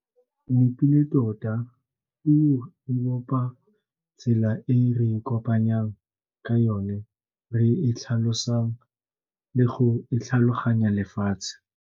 Nepile tota, o opa tsela e re e kopanyang ka yone re e tlhalosang le go e tlhaloganya lefatshe.